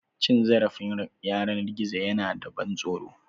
Cin zarafin yanar gizo yana da ban tsoro.